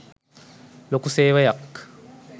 ලොකු සේවයක්.